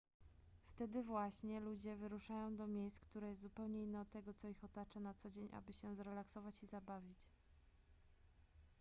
wtedy właśnie ludzie wyruszają do miejsc które jest zupełnie inne od tego co ich otacza na co dzień aby się zrelaksować i zabawić